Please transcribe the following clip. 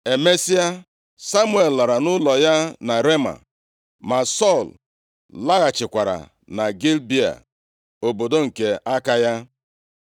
Emesịa, Samuel lara nʼụlọ ya na Rema. Ma Sọl laghachikwara na Gibea, obodo nke aka ya.